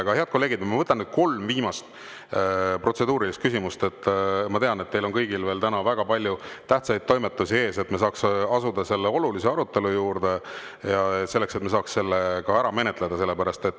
Aga, head kolleegid, ma võtan nüüd kolm viimast protseduurilist küsimust – ma tean, et teil on kõigil täna veel väga palju tähtsaid toimetusi ees –, et me saaksime asuda selle olulise arutelu juurde ja selle lõpuni ära menetleda.